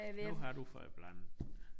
Nu har du fået blandet